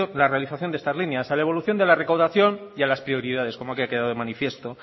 la realización de estas líneas a la evolución de la recaudación y a las prioridades como aquí ha quedado de manifiesto